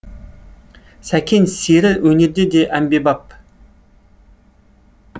сәкен сері өнерде де әмбебаб